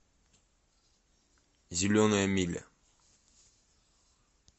зеленая миля